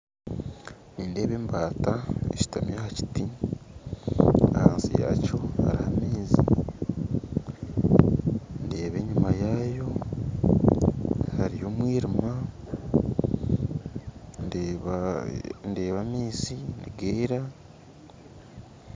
Nindeeba embaata eshuutami aha kiti ahansi yaakyo hariho amaizi ndeeba enyima yaayo hariyo omwiriima ndeeba amaizi nigeera